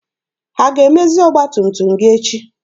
Ha ga-emezi ọgba tum tum gị echi?